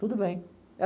Tudo bem.